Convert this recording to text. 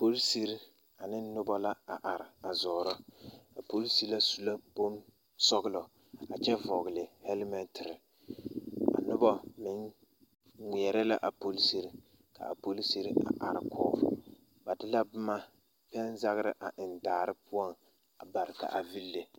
Polisiri ane noba la a are a zɔɔrɔ a polisiri su la bonsɔɡelɔ a kyɛ vɔɡele hɛlɛmɛntere a noba meŋ ŋmeɛrɛ la a polisiri ka a polisiri a arekɔɡe ba de la pɛnzaɡera a eŋ daa poɔŋ a ba ka a vile.